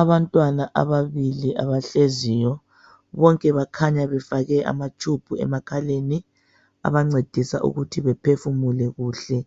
Abantwana ababili, abahleziyo. Bonke bakhanya befake amatshubhu emakhaleni. Abancedisa ukuthi bephefumule kuhle.